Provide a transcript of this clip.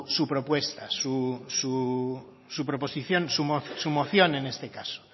su propuesta su proposición su moción en este caso